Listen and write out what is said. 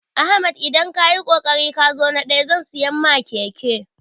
Ahmad idan kayi kokari kazo na ɗaya zan siya ma keke